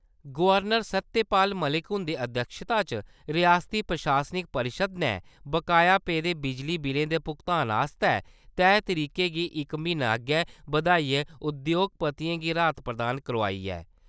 Governor Satyapal Malik हुन्दी अध्यक्षता च रियासती प्रशासनिक परिशद ने बकाया पेदे बिजली बिलें दे भुगतान आस्तै तैह् तरीके गी इक्क म्हीना अग्गै बधाइयै उद्योगपतियें गी राहत प्रदान करोआई ऐ।